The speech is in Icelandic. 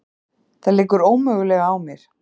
Það liggur ómögulega á mér.